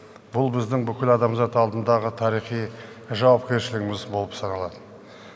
бұл біздің бүкіл адамзат алдындағы тарихи жауапкершілігіміз болып саналады